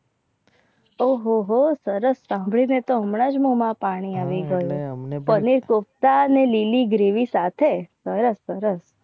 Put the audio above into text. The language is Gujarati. ઓ હો હો સરસ સરસ સાંભળીને તો હમણાં જ મોમાં પાણી આવી ગયું પનીર કોફ્તા ને લીલી gravy સાથે